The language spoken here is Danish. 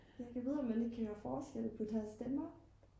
ja gad vide om man egentlig kan høre forskel på deres stemmer